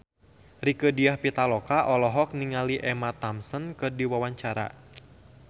Rieke Diah Pitaloka olohok ningali Emma Thompson keur diwawancara